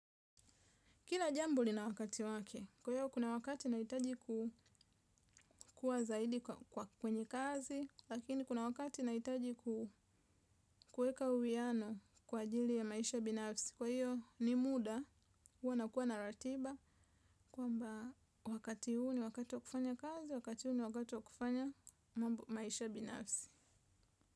Kila jambo lina wakati wake, kwa hiyo kuna wakati nahitaji kukua zaidi kwenye kazi, lakini kuna wakati nahitaji ku kuweka uwiano kwa ajili ya maisha binafsi. Kwa hiyo ni muda, huwa nakuwa na ratiba, kwamba wakati huu ni wakati wa kufanya kazi, wakati huu ni wakati wa kufanya maisha binafsi.